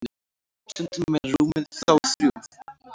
stundum eru rúmin þó þrjú